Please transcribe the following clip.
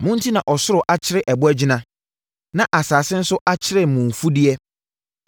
Mo enti na ɔsoro akyere ɛbɔ agyina, na asase nso akyere mo mfudeɛ.